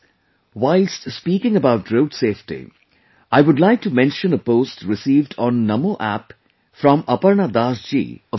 whilst speaking about Road safety, I would like to mention a post received on NaMo app from Aparna Das ji of Kolkata